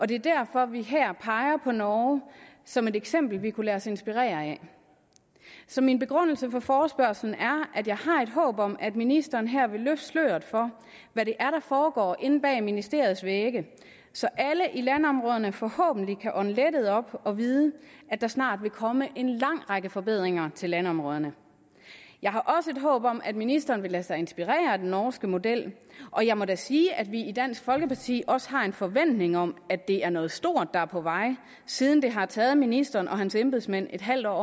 det er derfor vi her peger på norge som et eksempel vi kunne lade os inspirere af så min begrundelse for forespørgslen er at jeg har et håb om at ministeren her vil løfte sløret for hvad det er der foregår inde bag ministeriets vægge så alle i landområderne forhåbentlig kan ånde lettet op og vide at der snart vil komme en lang række forbedringer af landområderne jeg har også et håb om at ministeren vil lade sig inspirere af den norske model og jeg må da sige at vi i dansk folkeparti også har en forventning om at det er noget stort der er på vej siden det har taget ministeren og hans embedsmænd et halvt år at